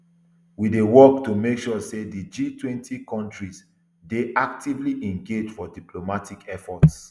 we dey work to make sure say di gtwenty kontris dey actively engaged for diplomatic efforts